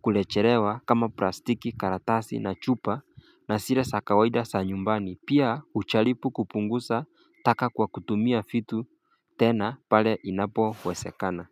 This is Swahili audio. kurechelewa kama plastiki karatasi na chupa na zile za kawaida za nyumbani pia hujaribu kupunguza taka kwa kutumia vitu tena pale inapo wezekana.